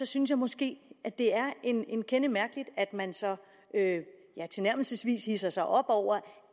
synes jeg måske det er en kende mærkeligt at man så ja nærmest hidser sig op over